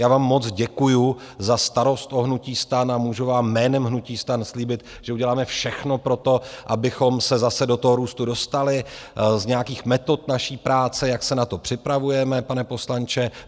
Já vám moc děkuju za starost o hnutí STAN a můžu vám jménem hnutí STAN slíbit, že uděláme všechno pro to, abychom se zase do toho růstu dostali, z nějakých metod naší práce, jak se na to připravujeme, pane poslanče.